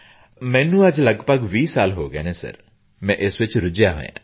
ਮੈਨੂੰ ਅੱਜ ਲਗਭਗ 20 ਸਾਲ ਹੋ ਗਏ ਹਨ ਸਰ ਮੈਂ ਇਸ ਵਿੱਚ ਰੁੱਝਿਆ ਹੋਇਆ ਹਾਂ